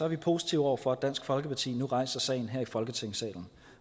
vi positive over for at dansk folkeparti nu rejser sagen her i folketingssalen